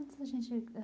Antes da gente ah.